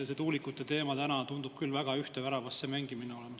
See tuulikute teema tundub küll väga ühte väravasse mängimisena.